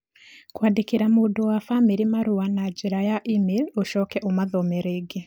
kwandĩkĩra mũndũ wa famĩlĩ marũa na njĩra ya e-mail ũcoke ũmathome rĩngĩ